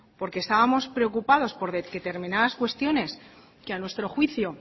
porque estábamos preocupados por determinadas cuestiones que a nuestro juicio